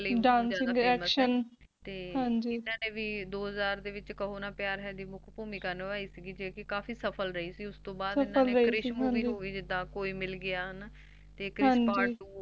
ਤੇ ਇਹਨਾ ਨੇ ਵੀ ਦੋ ਹਜਾਰ ਦੇ ਵਿੱਚ kaho Na Pyar Hai ਵਿੱਚ ਮੁੱਖ ਭੂਮਿਕਾ ਨਿਭਾਈ ਸੀ ਜੌ ਕਿ ਕਾਫੀ ਸਫਲ ਰਹੀ ਸੀ ਤੇ ਉਸਤੋ ਬਾਅਦ krish Movie koi Mil Gya ਹੈਨਾ ਤੇ krish Part Two